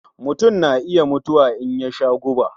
Mutun na iya mutuwa in ya sha guba.